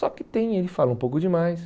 Só que tem, ele fala um pouco demais.